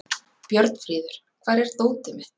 Björnfríður, hvar er dótið mitt?